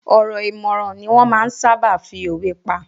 Ọ̀rọ̀ ìmọ̀ràn ni wọ́n máa ń sáábà fi òwe pa.